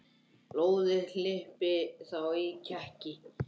Blóðið hlypi þá í kekki.